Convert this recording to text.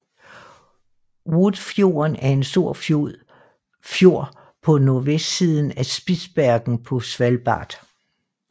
Woodfjorden er en stor fjord på nordvestsiden af Spitsbergen på Svalbard